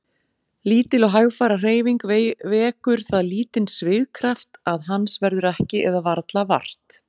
Lítil og hægfara hreyfing vekur það lítinn svigkraft að hans verður ekki eða varla vart.